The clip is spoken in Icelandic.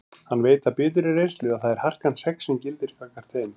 Hann veit af biturri reynslu að það er harkan sex sem gildir gagnvart þeim.